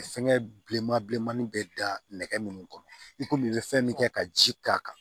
Fɛnkɛ bilenman bilenmannin bɛ da nɛgɛ minnu kɔnɔ i komi i bɛ fɛn min kɛ ka ji k'a kan